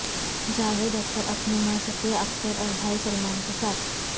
جاوید اختر اپنی ماں صفیہ اختر اور بھائی سلمان کے ساتھ